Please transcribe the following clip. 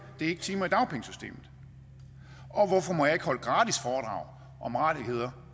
de timer ikke i dagpengesystemet og hvorfor må jeg ikke holde gratis foredrag om rettigheder